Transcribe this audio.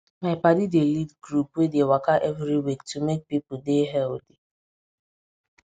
my padi dey lead group wey dey waka every week to make people dey healthy